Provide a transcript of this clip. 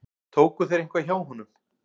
Tóku þeir eitthvað hjá honum?